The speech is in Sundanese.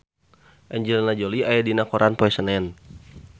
Angelina Jolie aya dina koran poe Senen